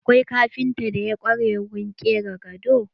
Akwai kafintan da ya ƙware wurin ƙera gado.